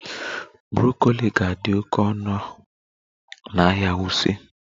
Broccoli ga-adị oke ọnụ n'ahịa Wuse